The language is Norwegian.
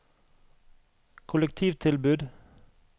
kollektivtilbud